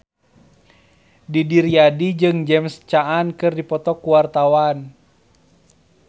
Didi Riyadi jeung James Caan keur dipoto ku wartawan